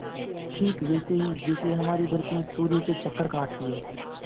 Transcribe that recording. ठीक वैसे ही जैसे हमारी धरती सूर्य के चक्कर काटती है